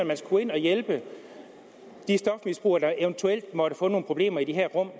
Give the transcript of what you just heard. man skal gå ind og hjælpe de stofmisbrugere der eventuelt måtte få nogle problemer i de her rum og